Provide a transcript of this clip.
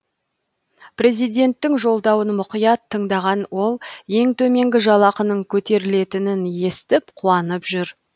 президенттің жолдауын мұқият тыңдаған ол ең төменгі жалақының көтерілетінін естіп қуанып жүр